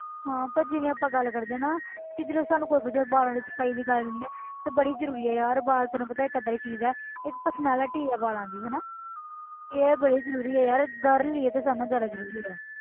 ਹਾਂ ਪਰ ਜਿਵੇਂ ਆਪਾਂ ਗੱਲ ਕਰਦੇ ਨਾ ਕਿ ਜਦੋਂ ਸਾਨੂੰ ਕੋਈ ਵਧੀਆ ਵਾਲਾਂ ਦੀ ਸਫ਼ਾਈ ਦੀ ਗੱਲ ਹੁੰਦੀ ਆ ਤੇ ਬੜੀ ਜ਼ਰੂਰੀ ਹੈ ਯਾਰ ਵਾਲ ਤੈਨੂੰ ਪਤਾ ਹੈ ਇੱਕ ਏਦਾਂ ਦੀ ਚੀਜ਼ ਹੈ ਇੱਕ personality ਹੈ ਵਾਲਾਂ ਦੀ ਹਨਾ ਇਹ ਬੜੀ ਜ਼ਰੂਰੀ ਹੈ ਯਾਰ girl ਲਈਏ ਤੇ ਸਭ ਨਾਲੋਂ ਜ਼ਿਆਦਾ ਜ਼ਰੂਰੀ ਹੈ।